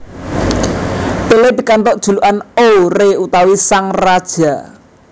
Pelé pikantuk julukan O Rei utawi Sang Raja